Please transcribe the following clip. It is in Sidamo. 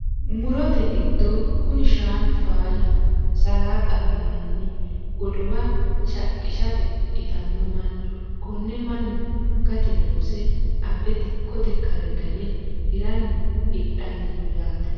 Murote giddo kuni shaanu faayyaho salaxaho yinanni godowa shaqqishate itano mannu kone mannu gate loosse abbe dikkote kare gane hiranni hidhanni no yaate.